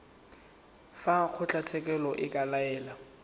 fa kgotlatshekelo e ka laela